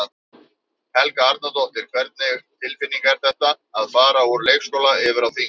Helga Arnardóttir: Hvernig tilfinning er þetta, að fara úr leikskóla yfir á þing?